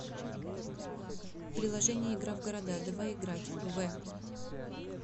приложение игра в города давай играть в